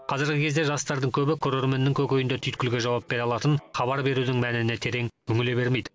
қазіргі кезде жастардың көбі көрерменнің көкейіндегі түйткілге жауап бере алатын хабар берудің мәніне терең үңіле бермейді